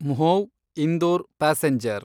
Mhow Indore passenger